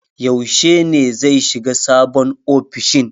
Yaushe ne zai shiga sabon ofishin?